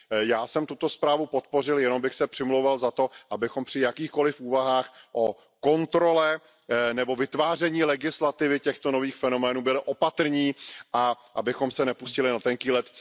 Já jsem tuto zprávu podpořil, jenom bych se přimlouval za to, abychom při jakýchkoliv úvahách o kontrole nebo vytváření legislativy v případě těchto nových fenoménů byli opatrní a abychom se nepustili na tenký led.